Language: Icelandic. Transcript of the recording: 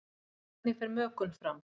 Hvernig fer mökun fram?